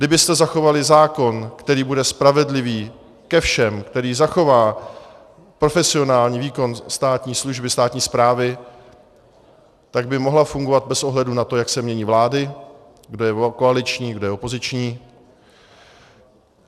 Kdybyste zachovali zákon, který bude spravedlivý ke všem, který zachová profesionální výkon státní služby, státní správy, tak by mohla fungovat bez ohledu na to, jak se mění vlády, kdo je koaliční, kdo je opoziční.